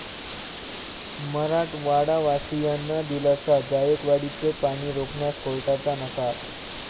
मराठवाडावासियांना दिलासा, जायकवाडीचं पाणी रोखण्यास कोर्टाचा नकार